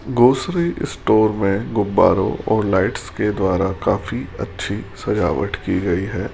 Grocery store में गुब्बारे और लाइट्स के द्वारा काफी अच्छी सजावट की गई है।